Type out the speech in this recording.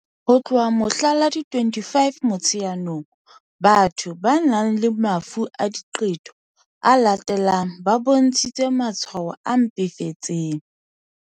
Ho tloha mohla la 25 Motsheanong, batho ba nang le mafu a diqebo a latelang ba bontshitse matshwao a mpefetseng.